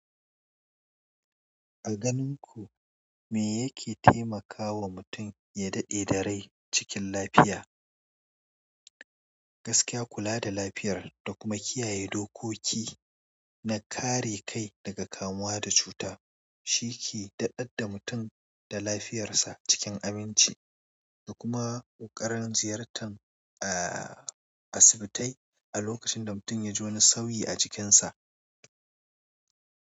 A ganin ku, me yake taimakawa mutum ya daɗe da rai cikin lafiya? Gaskiya, kula da lafiyar da kuma kiyaye dokoki na kare kai daga kamuwa da cuta shi ke daɗadda mutum da lafiyarsa cikin aminci da kuma ƙoƙarin ziyartar, ah, asibitai a lokacin da mutum ya ji wani sauyi a jikinsa.